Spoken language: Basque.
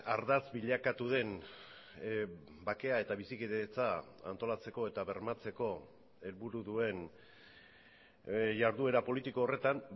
ardatz bilakatu den bakea eta bizikidetza antolatzeko eta bermatzeko helburu duen jarduera politiko horretan